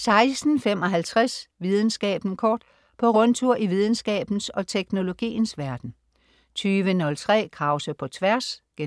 16.55 Videnskaben kort. På rundtur i videnskabens og teknologiens verden 20.03 Krause på Tværs* 21.03